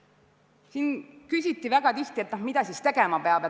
Siin küsiti väga tihti, mida siis tegema peab.